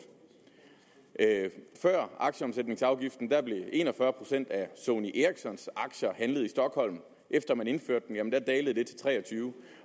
før aktieomsætningsafgiften blev en og fyrre procent af sony ericssons aktier handlet i stockholm efter man indførte den dalede det til tre og tyve